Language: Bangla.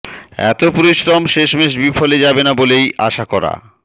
এত পরিশ্রম শেষমেষ বিফলে যাবে না বলেই আশা করা